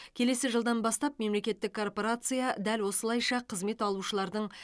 келесі жылдан бастап мемлекеттік корпорация дәл осылайша қызмет алушылардың